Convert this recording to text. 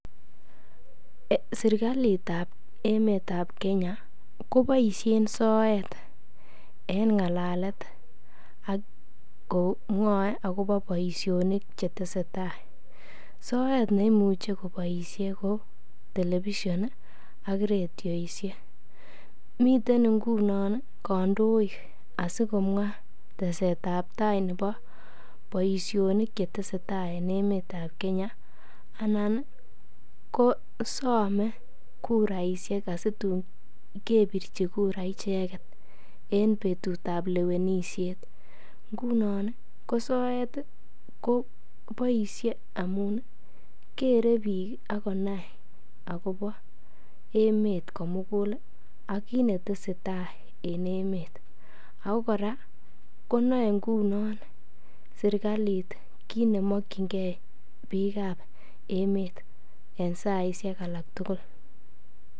serkaliit ab emet ab kenya koboishen soet en ngalalet ak komwoee agobo boishonik chetesetai, soet neimuche koboishen ko television iih ak rediishek ,miten ingunon iih kandoik asigomwaa tesetab tai nebo boishonik chetesetai en emet ab kenya anan kosome kuraishek asituun kebirchi kura icheget en betut ab lewenishet, ngunon iih ko soet iih koboishe amuun kere biik ak konai agobo emeet komuguul iih ak kiit netesetai en emeet, ago koraa konoe ngunon serkaliit kiit nemokyingee biik ab emet en saisiek alak tugul.